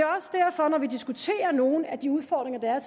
når vi diskuterer nogle af de udfordringer der er